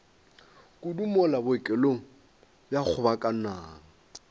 kudu mola bookelong bja kgobokanang